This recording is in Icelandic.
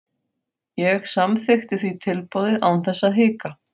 Ég samþykkti því tilboðið án þess að hika.